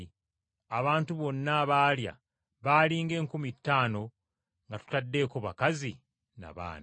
Abantu bonna abaalya baali ng’enkumi ttaano nga totaddeeko bakazi na baana.